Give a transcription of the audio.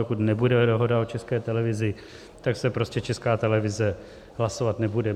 Dokud nebude dohoda o České televizi, tak se prostě Česká televize hlasovat nebude.